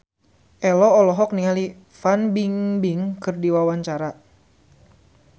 Ello olohok ningali Fan Bingbing keur diwawancara